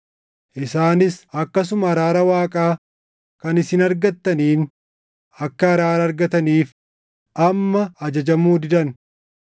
isaanis akkasuma araara Waaqaa kan isin argattaniin akka araara argataniif amma ajajamuu didan.